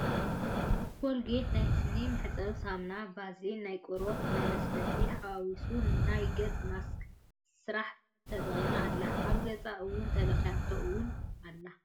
ኮልጌት ናይ ስኒ ምሕፀቢ ሳምናን ቫዝሊን ናይ ቆርበት መለስለስን ሓዋዊሳ ናይ ገፅ ማስክ ሰርሓ ተጠቂማ ኣላ። ኣብ ገፃ እውን ተለክያቶ እውን ኣላ ።